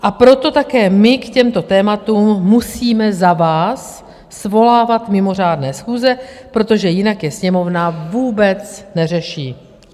A proto také my k těmto tématům musíme za vás svolávat mimořádné schůze, protože jinak je Sněmovna vůbec neřeší.